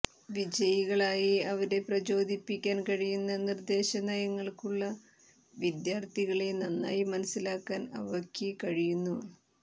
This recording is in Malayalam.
വിജയികളായി അവരെ പ്രചോദിപ്പിക്കാൻ കഴിയുന്ന നിർദേശ നയങ്ങൾക്കുള്ള വിദ്യാർത്ഥികളെ നന്നായി മനസ്സിലാക്കാൻ അവയ്ക്ക് കഴിയുന്നു